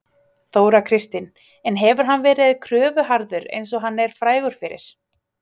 Þóra Kristín: En hefur hann verið kröfuharður eins og hann er frægur fyrir?